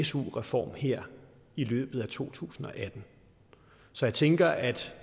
su reform her i løbet af to tusind og atten så jeg tænker at